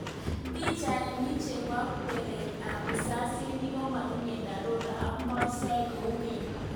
Pichainik chebo kweret ab risasinik komatinye dharura ak meosiek kou keny